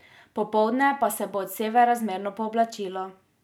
Popoldne pa se bo od severa zmerno pooblačilo.